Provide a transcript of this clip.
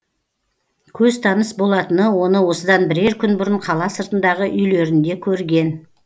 көзтаныс болатыны оны осыдан бірер күн бұрын қала сыртындағы үйлерінде көрген